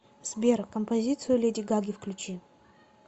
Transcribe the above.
сбер композицию леди гаги включи